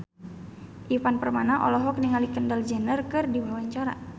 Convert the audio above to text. Ivan Permana olohok ningali Kendall Jenner keur diwawancara